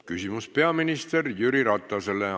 Küsimus peaminister Jüri Ratasele.